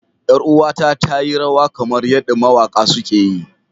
Yar'uwata ta yi rawa kamar yadda mawaƙa suke yi.